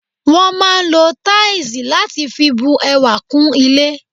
Wọ́n máà ń lo táìsì láti fi bu ẹwà kún ilé.